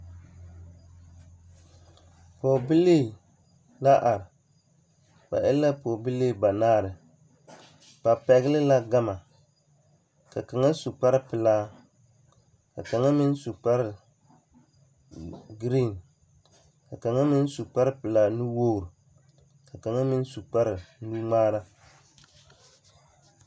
Pɔgebilii la are ba e la pɔgebilii banaare ba pɛgle la gama ka kaŋa su kparepelaa ka kaŋa meŋ su kpare green ka kaŋa meŋ su kparepelaa nuwogre ka kaŋa meŋ su kparenuŋmaara.